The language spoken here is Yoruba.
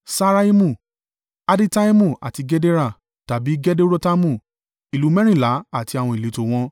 Ṣaaraimu, Adittaimu àti Gedera (tàbí Gederotaimu). Ìlú mẹ́rìnlá àti àwọn ìletò wọn.